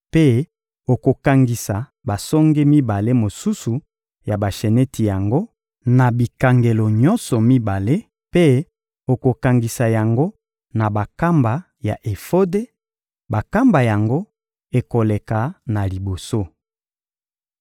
mpe okokangisa basonge mibale mosusu ya basheneti yango, na bikangelo nyonso mibale; mpe okokangisa yango na bankamba ya efode; bankamba yango ekoleka na liboso.